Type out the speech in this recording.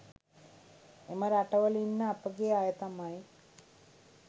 එම රටවල ඉන්න අපගේ අය තමයි